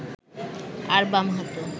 আর বাম হাতও